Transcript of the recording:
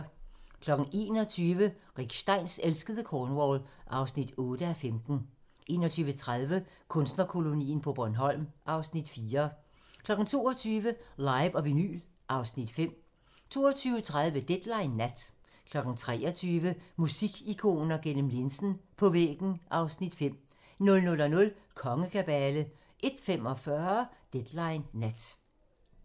21:00: Rick Steins elskede Cornwall (8:15) 21:30: Kunstnerkolonien på Bornholm (Afs. 4) 22:00: Live & vinyl (Afs. 5) 22:30: Deadline nat 23:00: Musikikoner gennem linsen - på væggen (Afs. 5) 00:00: Kongekabale 01:45: Deadline nat